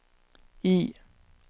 I